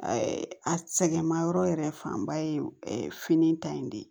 a sɛgɛnmayɔrɔ yɛrɛ fanba ye fini ta in de ye